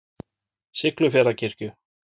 Siglufjarðarkirkju